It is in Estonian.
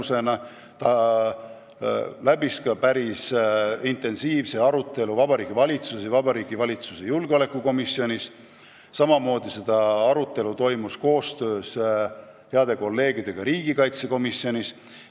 Seda arutati päris intensiivselt Vabariigi Valitsuses ja valitsuse julgeolekukomisjonis ning meie käsitlesime seda koostöös heade kolleegidega riigikaitsekomisjonist.